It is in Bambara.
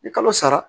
Ni kalo sara